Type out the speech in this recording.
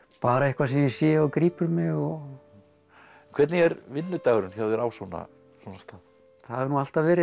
bara eitthvað sem ég sé og grípur mig hvernig er vinnudagurinn hjá þér á svona svona stað það hefur nú alltaf verið